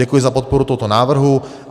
Děkuji za podporu tohoto návrhu.